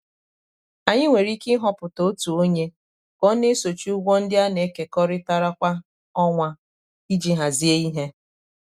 anyị nwere ike ịhọpụta otu onye ka ọ na-esochi ụgwọ ndị a na-ekekọrịtara kwa ọnwa iji hazie ihe.